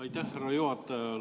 Aitäh, härra juhataja!